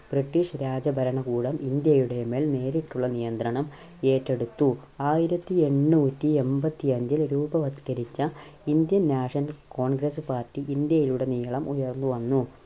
british രാജ ഭരണ കൂടം ഇന്ത്യയുടെ മേൽ നേരിട്ടുള്ള നിയന്ത്രണം ഏറ്റെടുത്തു. ആയിരത്തിഎണ്ണൂറ്റിഎമ്പത്തിയഞ്ചിൽ രൂപവത്കരിച്ച Indian National Congress Party ഇന്ത്യയിലുടനീളം വളർന്നു വന്നു.